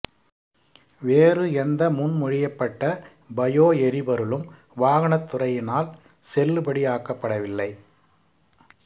வேறு எந்த முன்மொழியப்பட்ட பயோ எரிபொருளும் வாகனத் துறையினால் செல்லுபடியாக்கப்படவில்லை